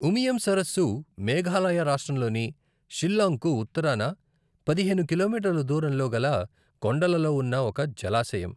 ఉమియం సరస్సు మేఘాలయ రాష్ట్రంలోని షిల్లాంగ్కు ఉత్తరాన పదిహేను కిలోమీటర్ల దూరంలో గల కొండలలో ఉన్న ఒక జలాశయం.